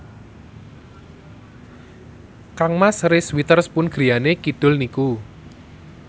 kangmas Reese Witherspoon griyane kidul niku